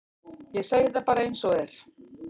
Ég segi það bara eins og er.